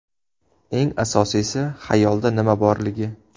Eng asosiysi, xayolda nima borligi.